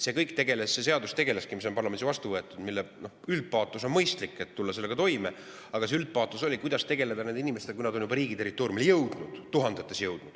See seadus, mis on parlamendis vastu võetud – noh, selle üldpaatos on mõistlik, et sellega toime tulla, aga kuidas tegeleda nende inimestega, kui neid on juba tuhandetes riigi territooriumile jõudnud?